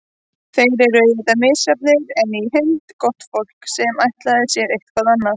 Þeir eru auðvitað misjafnir, en í heild gott fólk, sem ætlaði sér eitthvað annað.